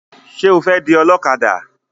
Ṣé o fẹ́ di ọlọ́kadà?